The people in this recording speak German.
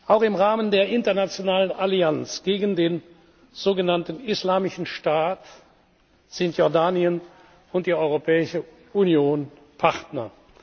Auch im Rahmen der internationalen Allianz gegen den sogenannten Islamischen Staat sind Jordanien und die Europäische Union Partner.